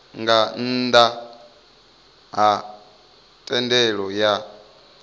nga nnda ha thendelo ya